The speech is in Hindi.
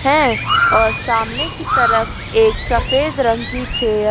हैं और सामने की तरफ एक सफेद रंग की चेयर --